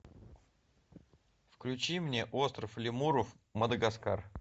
включи мне остров лемуров мадагаскар